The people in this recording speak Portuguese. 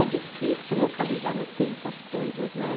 É difícil localizar no tempo as coisas, né?